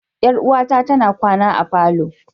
Yar'uwata tana kwana a falo.